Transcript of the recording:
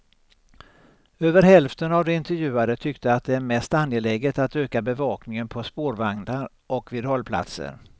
Över hälften av de intervjuade tyckte att det är mest angeläget att öka bevakningen på spårvagnar och vid hållplatser.